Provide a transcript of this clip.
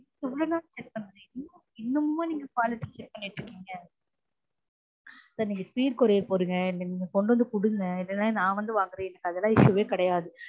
இவ்வளவு நாள் wait பண்ணுறன் இன்னுமமா நீங்க quality check பண்ணிட்டுருக்கீங்க sir நீங்க speed courier போடுங்க இல்ல நீங்க வந்து குடுங்க இல்லனா நான் வந்து வாங்குறன் அதெல்லாம் எனக்கு issue வே கெடயாது